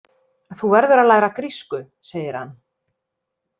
Þú verður að læra grísku, segir hann.